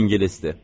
İngilisdir.